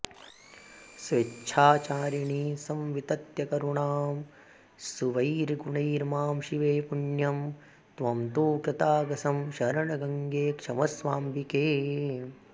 स्वेच्छाचारिणि संवितत्य करुणां स्वीयैर्गुणैर्मां शिवे पुण्यं त्वं तु कृतागसं शरणगं गङ्गे क्षमस्वाम्बिके